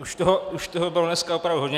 Už toho bylo dneska opravdu hodně.